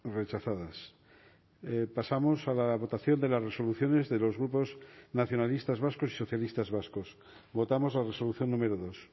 rechazadas pasamos a la votación de las resoluciones de los grupos nacionalistas vascos y socialistas vascos votamos la resolución número dos